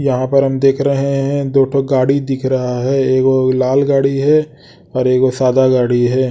यहां पर हम देख रहे हैं दो ठो गाड़ी दिख रहा है एक वोह लाल गाड़ी है और एक वोह सादा गाड़ी है।